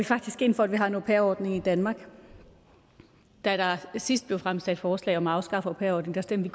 ind for at vi har en au pair ordning i danmark da der sidst blev fremsat forslag om at afskaffe au pair ordningen stemte